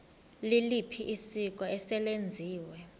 liliphi isiko eselenziwe